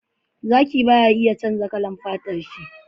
Zaki baya canja kalar fatar shi